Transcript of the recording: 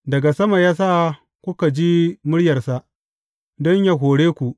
Daga sama ya sa kuka ji muryarsa, don yă hore ku.